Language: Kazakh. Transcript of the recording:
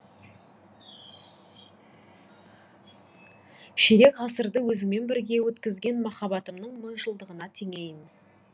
ширек ғасырды өзіңмен бірге өткізген махаббатымның мыңжылдығына теңейін